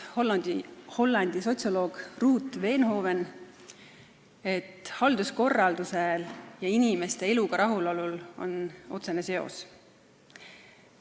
Hollandi sotsioloog Ruut Veenhoven on tõestanud, et halduskorraldusel ja inimeste eluga rahulolul on otsene seos.